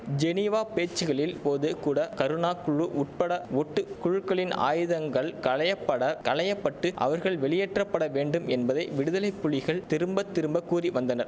Geneva பேச்சுக்களின் போதுகூட கருணா குழு உட்பட ஒட்டு குழுக்களின் ஆயுதங்கள் களையபட களையப்பட்டு அவர்கள் வெளியேற்றப்பட வேண்டும் என்பதை விடுதலை புலிகள் திரும்ப திரும்ப கூறி வந்தனர்